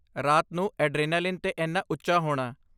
ਰਾਤ ਨੂੰ ਐਡਰੇਨਾਲੀਨ 'ਤੇ ਇੰਨਾ ਉੱਚਾ ਹੋਣਾ।